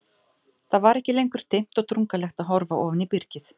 Það var ekki lengur dimmt og drungalegt að horfa ofan í byrgið.